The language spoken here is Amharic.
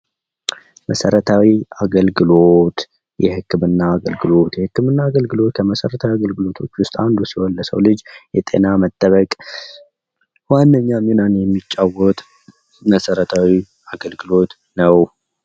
የሕግ አገልግሎት ለዜጎች ፍትሃዊ በሆነ መንገድ ፍትሕ የማግኘት መብታቸውን የሚያረጋግጥ መሠረታዊ አገልግሎት ነው